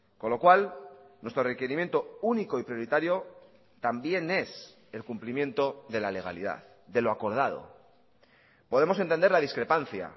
con lo cual nuestro requerimiento único y prioritario también es el cumplimiento de la legalidad de lo acordado podemos entender la discrepancia